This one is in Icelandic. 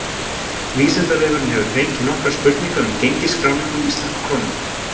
Vísindavefurinn hefur fengið nokkar spurningar um gengisskráningu íslensku krónunnar.